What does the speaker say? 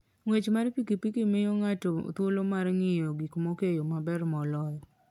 Ng'wech mar pikipiki miyo ng'ato thuolo mar ng'iyo gik moko e yo maber moloyo.